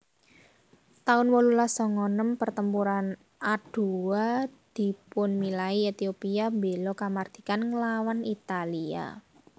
taun wolulas sanga enem Pertempuran Adowa dipunmilai Ethiopia mbéla kamardikan nglawan Italia